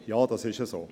Ja, dem ist so.